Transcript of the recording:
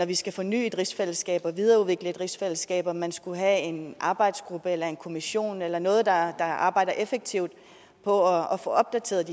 vi skal forny et rigsfællesskab og videreudvikle et rigsfællesskab om man skulle have en arbejdsgruppe eller en kommission eller noget andet der arbejder effektivt på at få opdateret